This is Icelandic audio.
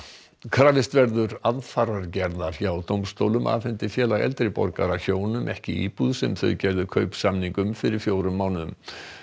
krafist verður aðfarargerðar hjá dómstólum afhendi Félag eldri borgara eldri hjónum ekki íbúð þau gerðu kaupsamning um fyrir fjórum mánuðum